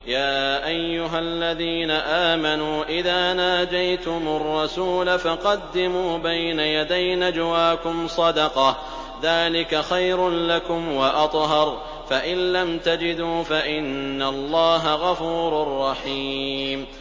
يَا أَيُّهَا الَّذِينَ آمَنُوا إِذَا نَاجَيْتُمُ الرَّسُولَ فَقَدِّمُوا بَيْنَ يَدَيْ نَجْوَاكُمْ صَدَقَةً ۚ ذَٰلِكَ خَيْرٌ لَّكُمْ وَأَطْهَرُ ۚ فَإِن لَّمْ تَجِدُوا فَإِنَّ اللَّهَ غَفُورٌ رَّحِيمٌ